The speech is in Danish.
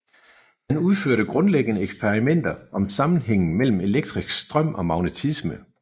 Han udførte grundlæggende eksperimenter om sammenhængen mellem elektrisk strøm og magnetisme